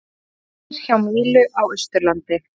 Truflanir hjá Mílu á Austurlandi